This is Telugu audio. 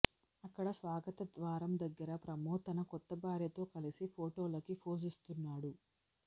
అక్కడ స్వాగత ద్వారం దగ్గర ప్రమోద్ తన కొత్త భార్యతో కలిసి ఫొటోలకి పోజ్ ఇస్తున్నాడు